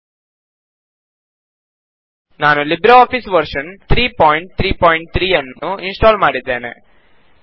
000224 000227 ನಾನು Libre office version 333 ನ್ನು install ಮಾಡಿದ್ದೇನೆ